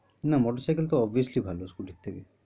না motor cycle তো obviously ভালো scooty এর থেকে।